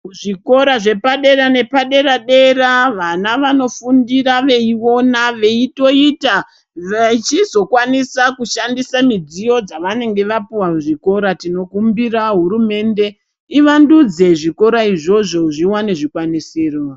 Zvikora zvepadera nepadera-dera vana vanofundira veiona veitoita vechizokwanisa kushandisa midziyo dzavanenge vapuwa muzvikora. Tinokumbira hurumende ivandudze zvikora izvozvo zviwane zvikwanisiro.